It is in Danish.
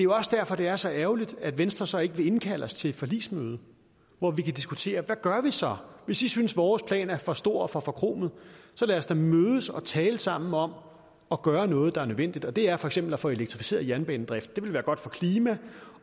også derfor det er så ærgerligt at venstre så ikke vil indkalde os til et forligsmøde hvor vi kan diskutere hvad gør vi så hvis i synes vores plan er for stor og for forkromet så lad os da mødes og tale sammen om at gøre noget der er nødvendigt og det er for eksempel at få elektrificeret jernbanedriften det ville være godt for klimaet